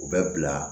U bɛ bila